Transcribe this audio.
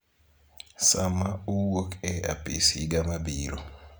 sama owuok e apis higa mabiro.